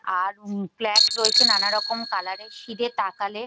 আর উম ফ্ল্যাগ রয়েছে নানা রকম কালার -এর সিধে তাকালে --